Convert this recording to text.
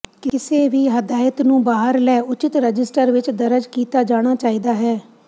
ਕਿਸੇ ਵੀ ਹਦਾਇਤ ਨੂੰ ਬਾਹਰ ਲੈ ਉਚਿਤ ਰਜਿਸਟਰ ਵਿੱਚ ਦਰਜ ਕੀਤਾ ਜਾਣਾ ਚਾਹੀਦਾ ਹੈ